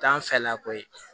T'an fɛla koyi